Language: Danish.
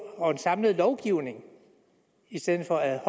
og en samlet lovgivning i stedet for at